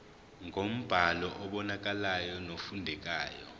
ngombhalo obonakalayo nofundekayo